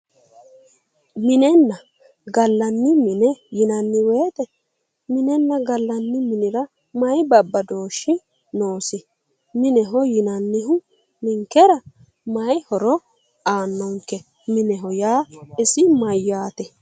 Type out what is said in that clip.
Minenna gallanni mine yinanni woyte minenna gallanni minira mayi babbadooshshi noosi mineho yinannihu ninkera mayi horo aannonke mineho yaa isi mayyaate